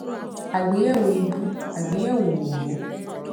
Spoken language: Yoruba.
àgbéyẹwò ìbú àgbéyẹwò òòró